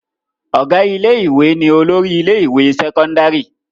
Ọ̀gá ilé-ìwé ni olórí ilé-ìwé sẹ́kọ́ndárì.